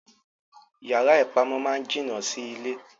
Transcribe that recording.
Yara ipamọ máa ni jina Si ilé.